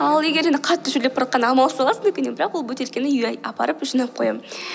ал егер енді қатты шөлдеп баратқанда амалсыздан аласың дүкеннен бірақ ол бөтелкені үйге апарып жинап қоямын